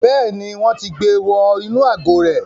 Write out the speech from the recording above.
Bẹ́ẹ̀ni, wọn ti gbe wọ inú àgò rẹ̀